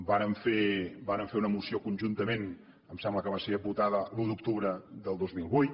vàrem fer una moció conjuntament em sembla que va ser votada l’un d’octubre del dos mil vuit